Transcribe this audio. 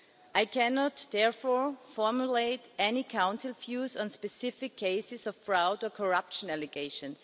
I cannot therefore formulate any Council views on specific cases of fraud or corruption allegations.